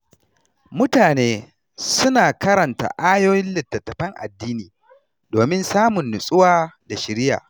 Mutane suna karanta ayoyin littattafan addini domin samun nutsuwa da shiriya.